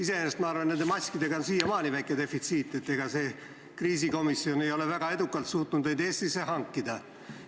Iseenesest, ma arvan, nende maskide väike defitsiit on siiamaani, ega see kriisikomisjon ei ole väga edukalt suutnud neid Eestisse hankida.